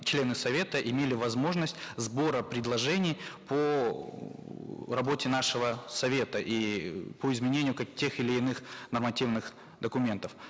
члены совета имели возможность сбора предложений по эээ работе нашего совета и по изменению тех или иных нормативных документов